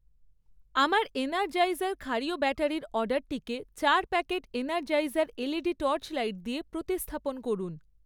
আমার এনারজাইজার ক্ষারীয় ব্যাটারির অর্ডারটিকে চার প্যাকেট এনারজাইজার এলইডি টর্চলাইট দিয়ে প্রতিস্থাপন করুন।